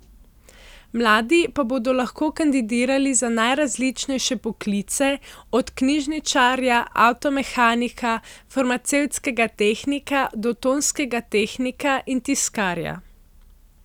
Mladi pa bodo lahko kandidirali za najrazličnejše poklice, od knjižničarja, avtomehanika, farmacevtskega tehnika do tonskega tehnika in tiskarja.